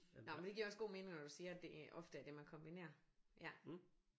Nåh men det giver også god mening når du siger at det ofte er det man kombinerer ja